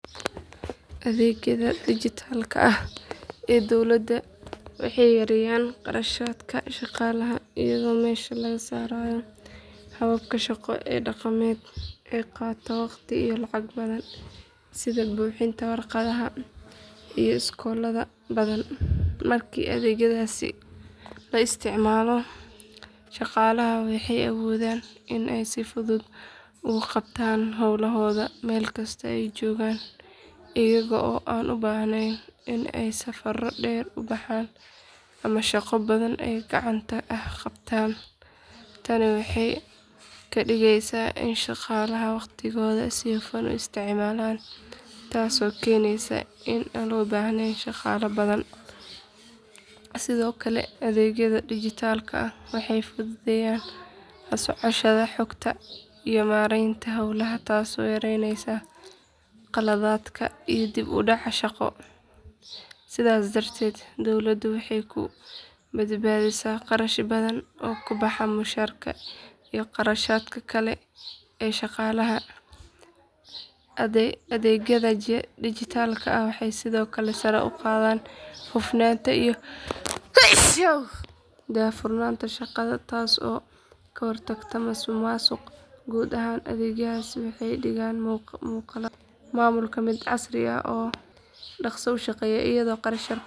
Adeegyada dijitaalka ah ee dowladdu waxay yareeyaan kharashaadka shaqaalaha iyadoo meesha laga saarayo hababka shaqo ee dhaqameed ee qaata waqti iyo lacag badan sida buuxinta waraaqaha iyo socdaalka badan. Markii adeegyadaasi la isticmaalo, shaqaalaha waxay awoodaan in ay si fudud ugu qabtaan hawlahooda meel kasta oo ay joogaan iyaga oo aan u baahnayn in ay safaro dheer ku baxaan ama shaqo badan oo gacanta ah qabtaan. Tani waxay ka dhigeysaa in shaqaalaha waqtigooda si hufan u isticmaalaan taasoo keeneysa in aan loo baahnayn shaqaale badan. Sidoo kale adeegyada dijitaalka ah waxay fududeyaan la socoshada xogta iyo maareynta hawlaha taasoo yaraynaysa qaladaadka iyo dib u dhacyada shaqo. Sidaas darteed dowladdu waxay ku badbaadisaa kharash badan oo ku baxa mushaarka iyo kharashaadka kale ee shaqaalaha. Adeegyada dijitaalka ah waxay sidoo kale sare u qaadaan hufnaanta iyo daahfurnaanta shaqada taasoo ka hortagta musuqmaasuqa. Guud ahaan adeegyadaasi waxay ka dhigaan maamulka mid casri ah oo dhaqso u shaqeeya iyada oo kharash yar ku baxaya.